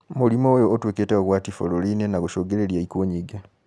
Mũrimũ ũyũ ũtuĩkĩte ũgwati bũrũri inĩ na gũcungĩrĩria ikuũ nyingĩ